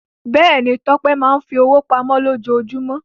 Bẹ́ẹ̀ ni, Tọ́pẹ́ máa ń fi owó pamọ́ lójoojúmọ́.